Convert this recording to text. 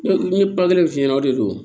Ne ye ba kelen f'i ɲɛna o de don